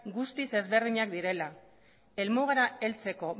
guztiz ezberdinak direla helmugara heltzeko